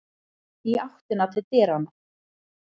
Í áttina til dyranna.